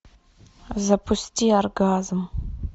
запусти оргазм